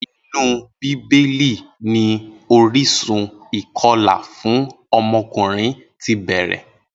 Inú bíbélì ni orísun ìko̩là fún o̩mo̩kùnrin ti bè̩rè